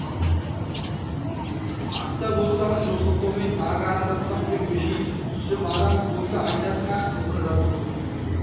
ақ та болсам жоқ сылтаумен тағы арандатпақ пең бөжей түсіп арам болса айтарсың ақ болса жазықсыз